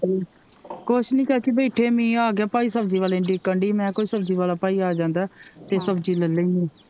ਕੁਛ ਨਹੀਂ ਚਾਚੀ ਬੈਠੇ ਮੀਹ ਆਗਿਆ ਭਾਈ ਸਬਜ਼ੀ ਵਾਲੇ ਨੂੰ ਉਡੀਕਣ ਦੀ ਮੈ ਕਿਹਾ ਕੋਈ ਸਬਜ਼ੀ ਵਾਲਾ ਭਾਈ ਆ ਜਾਂਦਾ ਤੇ ਸਬਜ਼ੀ ਲੈ ਲੈਂਦੀ।